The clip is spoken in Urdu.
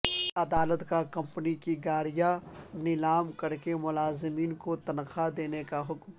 سعودی عدالت کا کمپنی کی گاڑیاں نیلام کرکے ملازمین کو تنخواہیں دینے کا حکم